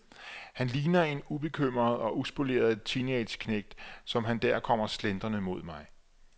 Han ligner en ubekymret og uspoleret teenageknægt, som han der kommer slentrende mod mig.